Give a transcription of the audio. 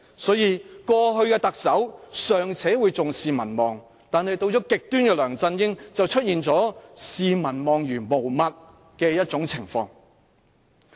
所以，過去的特首尚且會重視民望，但到了極端的梁振英當權，就出現特首視民望如無物的情況。